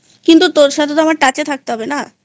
কিন্তু তোর সাথে তো আমার Touchথাকতে হবে না?